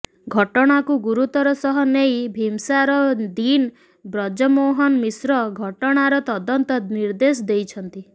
ଘଟଣାକୁ ଗୁରୁତର ସହ ନେଇ ଭିମସାର ଡିନ୍ ବ୍ରଜମୋହନ ମିଶ୍ର ଘଟଣାର ତଦନ୍ତ ନିର୍ଦେଶ ଦେଇଛନ୍ତି